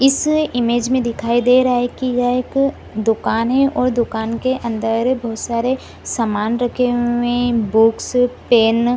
इस इमेज में दिखाई दे रहा है कि यह एक दुकान है और दुकान के अन्दर बहुत सारे सामान रखे हुए हैं बुक्स पेन --